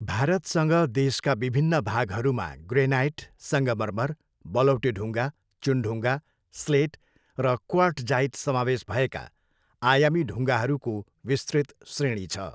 भारतसँग देशका विभिन्न भागहरूमा ग्रेनाइट, सङ्गमरमर, बलौटे ढुङ्गा, चुनढुङ्गा, स्लेट र क्वार्टजाइट समावेश भएका आयामी ढुङ्गाहरूको विस्तृत श्रेणी छ।